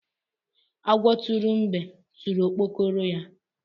Agwọ tụrụ mbe tụrụ okpokoro ya.